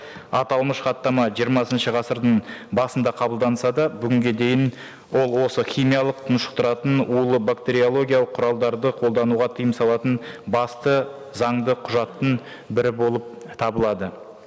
аталмыш хаттама жиырмасыншы ғасырдың басында қабылданса да бүгінге дейін ол осы химиялық тұншықтыратын улы бактериологиялық құралдарды қолдануға тыйым салатын басты заңды құжаттың бірі болып табылады